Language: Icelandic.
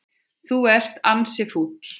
Þú ert ansi fúll.